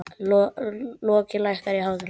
Loki, lækkaðu í hátalaranum.